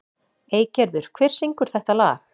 Eygerður, hver syngur þetta lag?